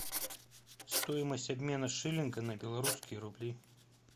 стоимость обмена шиллинга на белорусские рубли